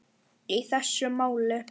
í þessu máli.